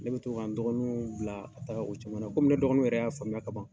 Ne bi to ka dɔgɔninw bila ka taa, o caman na, kɔmi ne dɔgɔninw yɛrɛ y'a faamuya kaban